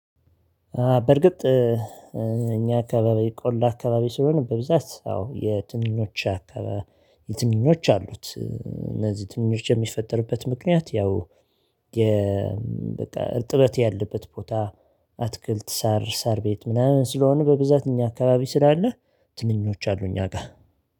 በርግጥ እኛ አካባቢ ቆላ አካባቢ ስለሆነ በብዛት አዎ። የትንኞች አካባቢ አሉት እነዚህ ትንኞች የሚፈጠርበት ምክንያት ያው የ እርጥበት ያለበት ቦታ አትክልት ሳር ሳር ቤት ምናምን ስለሆነ በብዛት እኛ አካባቢ ስላለህ ትንኞች አሉኝ አጋ።